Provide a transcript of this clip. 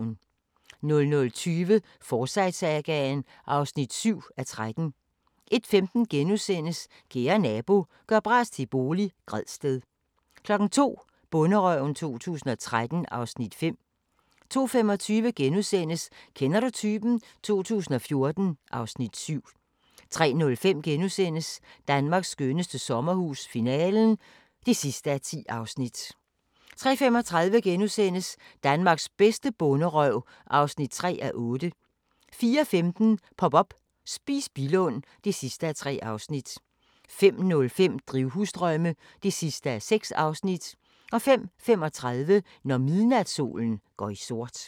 00:20: Forsyte-sagaen (7:13) 01:15: Kære nabo – gør bras til bolig – Gredsted * 02:00: Bonderøven 2013 (Afs. 5) 02:25: Kender du typen? 2014 (Afs. 7)* 03:05: Danmarks skønneste sommerhus - finalen (10:10)* 03:35: Danmarks bedste bonderøv (3:8)* 04:15: Pop up – Spis Billund (3:3) 05:05: Drivhusdrømme (6:6) 05:35: Når midnatssolen går i sort